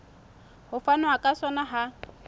ho fanwa ka sona ha